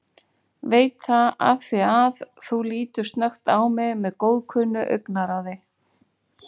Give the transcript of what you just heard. Veit það afþvíað þú lítur snöggt á mig með góðkunnu augnaráði.